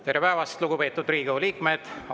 Tere päevast, lugupeetud Riigikogu liikmed!